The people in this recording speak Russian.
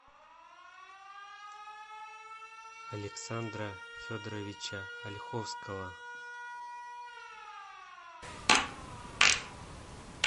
александра федоровича ольховского